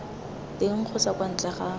teng kgotsa kwa ntle ga